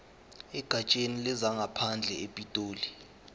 egatsheni lezangaphandle epitoli